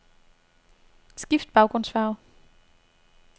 Skift baggrundsfarve.